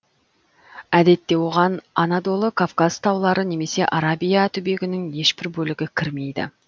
әдетте оған анадолы кавказ таулары немесе арабия түбегінің ешбір бөлігі кірмейді